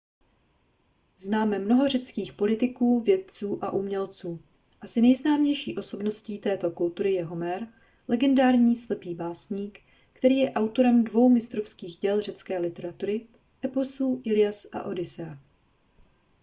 známe mnoho řeckých politiků vědců a umělců asi nejznámější osobností této kultury je homér legendární slepý básník který je autorem dvou mistrovských děl řecké literatury eposů illias a odyssea